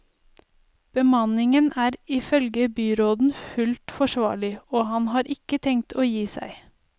Bemanningen er ifølge byråden fullt forsvarlig, og han har ikke tenkt å gi seg.